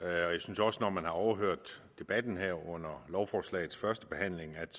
jeg synes også når man har overhørt debatten under lovforslagets første behandling at